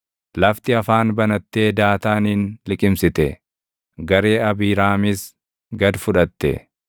Lafti afaan banattee Daataanin liqimsite; garee Abiiraamis gad fudhatte.